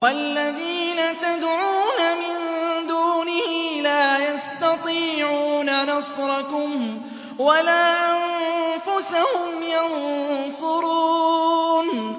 وَالَّذِينَ تَدْعُونَ مِن دُونِهِ لَا يَسْتَطِيعُونَ نَصْرَكُمْ وَلَا أَنفُسَهُمْ يَنصُرُونَ